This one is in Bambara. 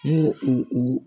N'u u u